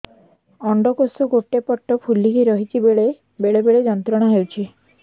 ଅଣ୍ଡକୋଷ ଗୋଟେ ପଟ ଫୁଲିକି ରହଛି ବେଳେ ବେଳେ ଯନ୍ତ୍ରଣା ହେଉଛି